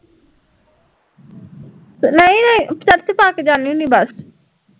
church ਪਾਕੇ ਜਾਨੀ ਹੁਨੀ ਬਸ